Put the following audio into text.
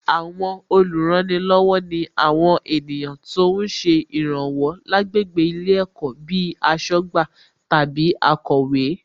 Àwọn olùrànilọ́wọ̀ ni àwọn ènìyàn tó ń ṣe ìràwọ̀ lágbègbè ilé ẹ̀kọ́ bíi aṣọ́gbà tàbí akọ̀wé